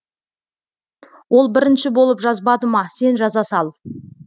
ол бірінші болып жазбады ма сен жаза сал